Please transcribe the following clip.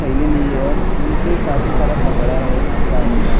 थैली ली हन नीचे काफी सारा कचरा है पानी में --